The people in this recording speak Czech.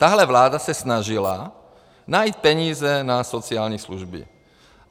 Tahle vláda se snažila najít peníze na sociální služby.